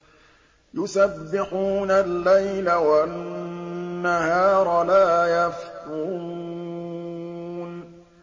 يُسَبِّحُونَ اللَّيْلَ وَالنَّهَارَ لَا يَفْتُرُونَ